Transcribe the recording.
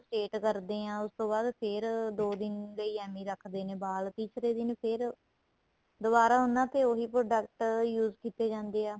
state ਕਰਦੇ ਏ ਉਸ ਤੋ ਬਾਅਦ ਫ਼ੇਰ ਦੋ ਦਿਨ ਲਈ ਐਵੇ ਰੱਖਦੇ ਨੇ ਵਾਲ ਤੀਸਰੇ ਦਿਨ ਫ਼ੇਰ ਦੁਬਾਰਾ ਉਹਨਾ ਤੇ ਉਹੀ product use ਕੀਤੇ ਜਾਂਦੇ ਏ